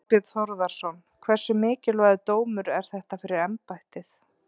Þorbjörn Þórðarson: Hversu mikilvægur dómur er þetta fyrir embættið?